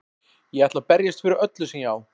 Ég ætla að berjast fyrir öllu sem ég á.